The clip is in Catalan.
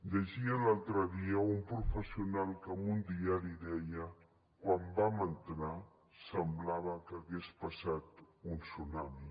llegia l’altre dia un professional que en un diari deia quan hi vam entrar semblava que hagués passat un tsunami